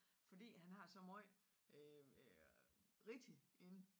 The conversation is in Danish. Fordi han har så meget rigtigt inde